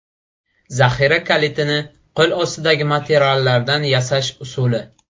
Zaxira kalitini qo‘lostidagi materiallardan yasash usuli .